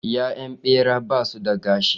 Ya'yan Ɓeraye basu da gashi